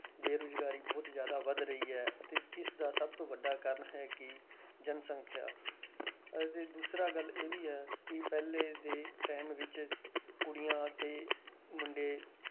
ਬੇਰੁਜ਼ਗਾਰੀ ਬਹੁਤ ਜ਼ਿਆਦਾ ਵੱਧ ਰਹੀ ਹੈ ਅਤੇ ਇਸਦਾ ਸਭ ਤੋਂ ਵੱਡਾ ਕਾਰਨ ਹੈ ਕਿ ਜਨਸੰਖਿਆ ਅਤੇ ਦੂਸਰਾ ਗੱਲ ਇਹ ਵੀ ਹੈ ਕਿ ਪਹਿਲੇ ਦੇ time ਵਿੱਚ ਕੁੜੀਆਂ ਤੇ ਮੁੰਡੇ